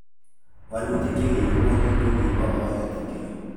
Walutik chekikiwol kokibo oret ingoro.